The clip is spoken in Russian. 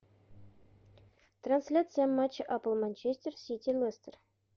трансляция матча апл манчестер сити лестер